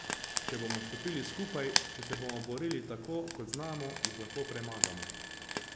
Če bomo stopili skupaj, če se bomo borili tako, kot znamo, jih lahko premagamo.